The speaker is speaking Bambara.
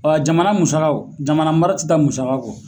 jamana musakaw, jamana mara tɛ taa musakakɔ.